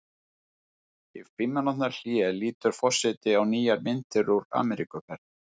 Í fimm mínútna hléi lítur forseti á nýjar myndir úr Ameríkuferð.